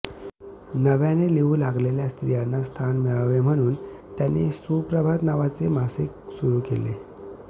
नव्याने लिहू लागलेल्या स्त्रियांना स्थान मिळावे म्हणून त्यांनी सुप्रभात नावाचे मासिक सुरु केले